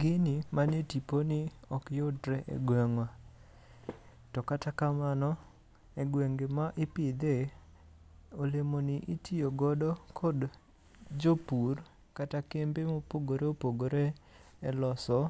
Gini man e tipo ni ok yudre e gweng'wa. To kata kamano, e gwenge ma ipidhe, olemo ni itiyo godo kod jopur kata kembe mopogore opogore e loso